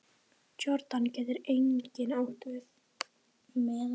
Jórdan getur einnig átt við